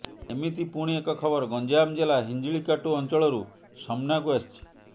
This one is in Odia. ଏମିତି ପୁଣି ଏକ ଖବର ଗଞ୍ଜାମ ଜିଲ୍ଲା ହିଂଜିଲିକାଟୁ ଅଞ୍ଚଳରୁ ସମ୍ନାକୁ ଆସିଛି